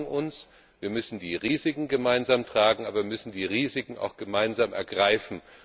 Wir brauchen einander, wir müssen die Risiken gemeinsam tragen, aber wir müssen die Risiken auch gemeinsam angehen.